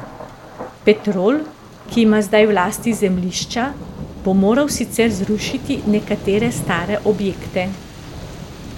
Petrol, ki ima zdaj v lasti zemljišča, bo moral sicer zrušiti nekatere stare objekte.